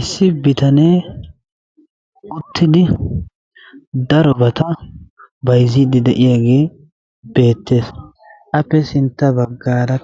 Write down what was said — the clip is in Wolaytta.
issi bitanee uttidi darobayta bayziidi de'iyagee beetees, appe sintta bagaara